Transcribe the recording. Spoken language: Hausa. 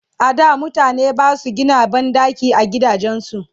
a da mutane Basu Gina banɗaki a gidajen su